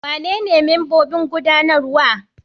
Wanene membobin gudanarwa?